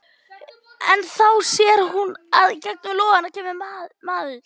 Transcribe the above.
En þá sér hún að í gegnum logana kemur maður.